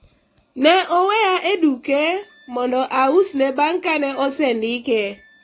ne oweya e duke mondo ausne bang' kane osendike